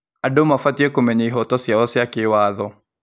Andũ mabatiĩ kũmenya ihooto ciao cia kĩwatho.